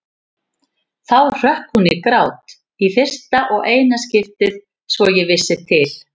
Þá hrökk hún í grát, í fyrsta og eina skiptið svo ég vissi til.